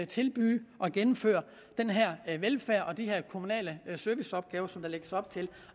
tilbyde at gennemføre den her velfærd og de her kommunale serviceopgaver som der lægges op til